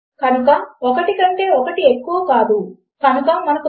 కనుక మనము if username and password అని చెప్పే ఒక ఉదాహరణను చూద్దాము